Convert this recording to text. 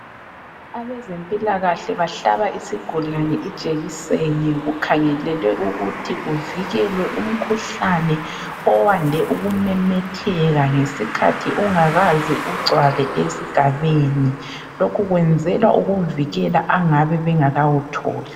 Abezempilakahle bahlaba isigulane ijekiseni, kukhangelelwe ukuthi kuvikelwe umkhuhlane owande ukumemetheka ngesikhathi ungakaze ugcwale esigabeni. Lokhu kwenzelwa ukuvikela angabe bengakawutholi.